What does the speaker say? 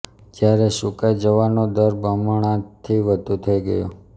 જ્યારે સુકાઇ જવાનો દર બમણાથી વધુ થઈ ગયો